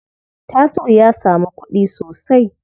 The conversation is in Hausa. Tasi'u ya samu kuɗi sosai.